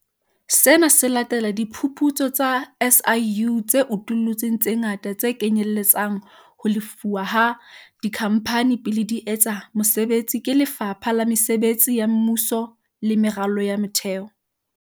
Sena se latela diphuputso tsa SIU tse utullutseng tse ngata tse kenyelletsang ho lefuwa ha dikhamphane pele di etsa mosebetsi ke Lefapha la Mesebetsi ya Mmuso le Meralo ya Motheo.